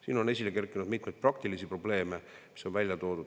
Siin on esile kerkinud mitmeid praktilisi probleeme, mis on ka välja toodud.